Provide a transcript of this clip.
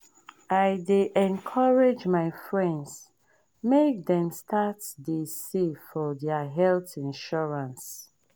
i dey encourage my friends make dem start dey save for their health insurance.